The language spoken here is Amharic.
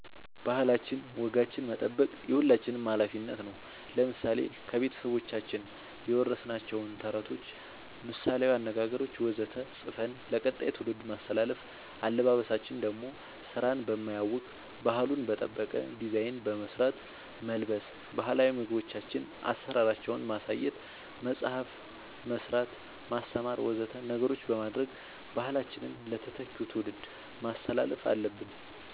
ባህላችን ወጋችን መጠበቅ የሁላችንም አላፊነት ነው ለምሳሌ ከቤተሰቦቻችን የወረስናቸውን ተረቶች ምሳላዊ አነገገሮች ወዘተ ፅፈን ለቀጣይ ትውልድ ማስተላለፍ አለበበሳችን ደሞ ስራን በማያውክ ባህሉን በጠበቀ ዲዛይን በመስራት መልበስ ባህላዊ ምግቦቻችን አሰራራቸውን ማሳየት መፅአፍ መስራት ማስተማር ወዘተ ነገሮች በማድረግ ባህላችንን ለተተኪው ትውልድ ማስተላለፍ አለብን